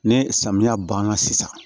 Ni samiya banna sisan